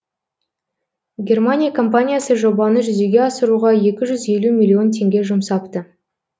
германия компаниясы жобаны жүзеге асыруға екі жүз елу миллион теңге жұмсапты